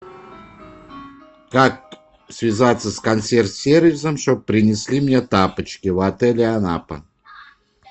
как связаться с консьерж сервисом чтобы принесли мне тапочки в отеле анапа